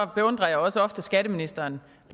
beundrer jeg også ofte skatteministeren